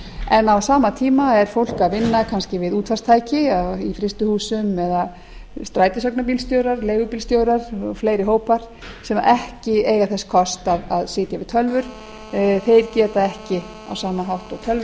en á sama tíma er fólk að vinna út útvarpstæki eða í frystihúsum eða strætisvagnabílstjórar leigubílstjórar og fleiri hópar sem ekki eiga þess kost að sitja við tölvur þeir geta ekki á sama hátt og